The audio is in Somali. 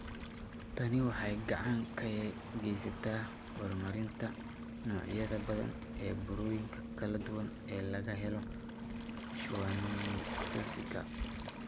Tani waxay gacan ka geysataa horumarinta noocyada badan ee burooyinka kala duwan ee laga helo schwannomatosika.